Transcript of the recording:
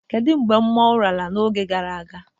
Ked mgbe mmọnwụ lara n,arọ gara aga?